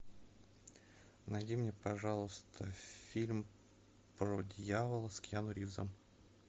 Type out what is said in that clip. найди мне пожалуйста фильм про дьявола с киану ривзом